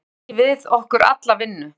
Höfum tekið að okkur alla vinnu